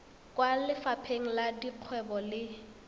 kwa lefapheng la dikgwebo le